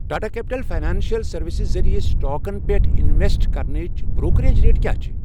Tata capital financial services ذٔریعہٕ سٹاکَن پٮ۪ٹھ انویسٹ کرنٕچ بروکریج ریٹ کیٛاہ چھِ۔